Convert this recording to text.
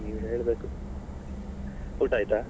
ನೀವೇ ಹೇಳ್ಬೇಕು ಊಟ ಆಯ್ತಾ?